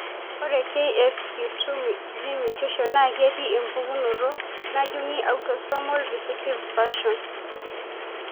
Ore CASQ2 gene mutations naa ketii, empukunoto najungi autosomal recessive fashion.